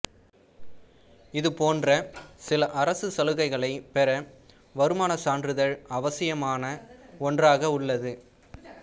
இது போன்ற சில அரசு சலுகைகளைப் பெற வருமானச் சான்றிதழ் அவசியமான ஒன்றாக உள்ளது